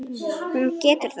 Hún getur það ekki.